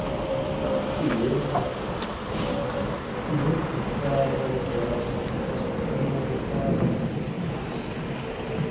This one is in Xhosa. nebuffalo grass stenotaphrum